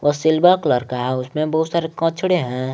सिल्वा colour का है उसमें बहुत सारे कचड़े हैं।